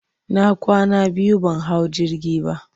na kwana biyu ban hau jirgi ba.